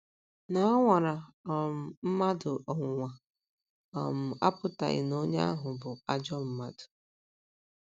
Na a nwara um mmadụ ọnwụnwa um apụtaghị na onye ahụ bụ ajọ mmadụ.